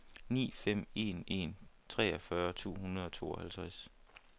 ni fem en en treogfyrre to hundrede og tooghalvtreds